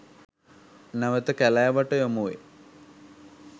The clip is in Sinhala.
නැවත කැලෑවට යොමු වේ.